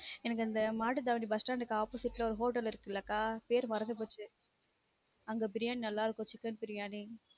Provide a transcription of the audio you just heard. எனக்கு அந்த Mattuthavani bus stand க்கு opposite ல ஒரு hotel இருக்குலா கா பேர் மறந்து போச்சு அங்க briyani நல்லா இருக்கும் chicken briyani